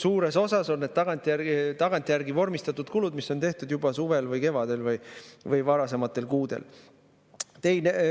Suures osas on need tagantjärgi vormistatud kulud, mis on tehtud juba suvel või kevadel või varasematel kuudel.